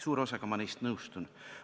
Suure osaga räägitust ma nõustun.